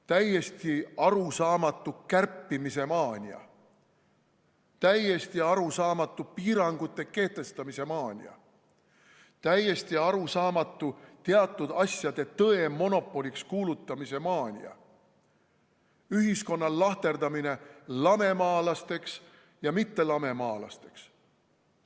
Täiesti arusaamatu kärpimise maania, täiesti arusaamatu piirangute kehtestamise maania, täiesti arusaamatu teatud asjade tõe monopoliks kuulutamise maania, ühiskonna lahterdamine lamemaalasteks ja mittelamemaalasteks.